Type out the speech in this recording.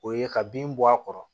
O ye ka bin bɔ a kɔrɔ